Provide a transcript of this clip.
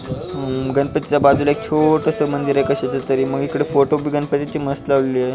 गणपतीच्या बाजूला एक छोटस मंदिरय कशाच तरी मग इकड फोटो पण गणपतीचे मस्त लावलेले आहे.